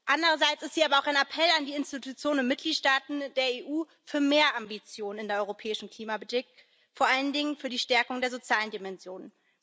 Andererseits ist sie aber auch ein Appell an die Institutionen und Mitgliedstaaten der EU für mehr Ambitionen in der europäischen Klimapolitik, vor allen Dingen für die Stärkung der sozialen Dimension.